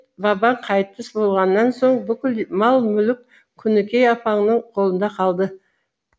бердімбет бабаң қайтыс болғаннан соң бүкіл мал мүлік күнікей апаңның қолында қалды